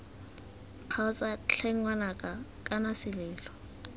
kgaotsa tlhe ngwanaka kana selelo